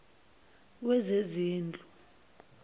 wezezindlu